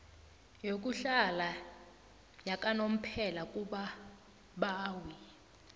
yokuhlala yakanomphela kubabawi